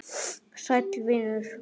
Sæll vinur